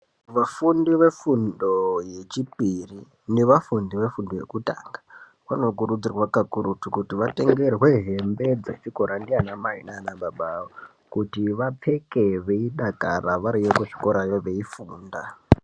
Vafundi vefundo yechipiri nevafundi vefundo yekutanga vanokurudzirwa kakurutu kuti vatengerwe hembe dzechikora ndiana mai nana baba awo kuti vapfeke veidakara variyo kuzvikorayo veifunda.